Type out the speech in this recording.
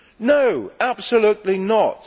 No, absolutely not.